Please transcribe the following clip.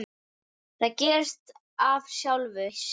Það gerist af sjálfu sér.